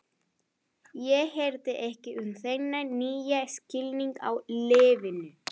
Ég hirði ekki um þennan nýja skilning á lífinu.